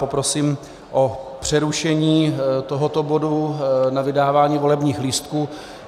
Poprosím o přerušení tohoto bodu na vydávání volebních lístků.